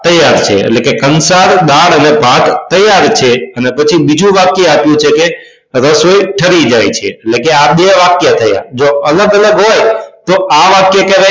તૈયાર છે એટલે કે કંસાર દાળ અને ભાત તૈયાર છે અને પછી બીજું વાક્ય આપ્યું છે કે રસોઈ ઠરી જાય છે એટલે કે આ બે વાક્ય થયા જો અલગ અલગ હોય તો આ વાક્ય